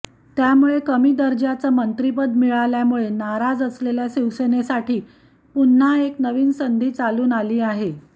त्यामुळे कमी दर्जाच मंत्रिपद मिळाल्यामुळे नाराज असलेल्या शिवसेनेसाठी पुन्हा एक नवी संधी चालून आली आहे